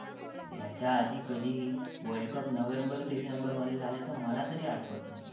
आणि घोडेस्वारीचे परीक्षण दिले, त्या स्वतः त्यामध्ये माहिर होत्या. छत्रपती शिवाजी महाराज शूर, धाडसी, बलवान, शक्तिशाली योद्धे बनले.